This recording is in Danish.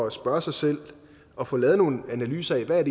at spørge sig selv og få lavet nogle analyser af hvad